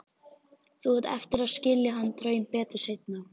Þú átt eftir að skilja þann draum betur seinna.